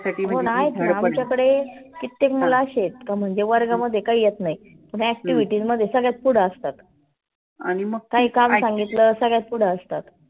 हो नाही आमच्याकडे कित्तेक मुलं अशे आहेत. का म्हणजे वर्गामध्ये काही येत नाही. पण activity मध्ये सर्वात पुढे असतात. काही काम सांगितलं सगळ्यात पुढे असतात.